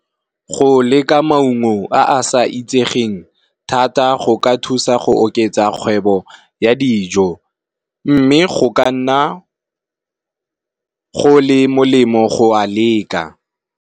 Go leka maungo a a sa itsegeng thata go ka thusa go oketsa kgwebo ya dijo, mme go ka nna go le molemo go a leka.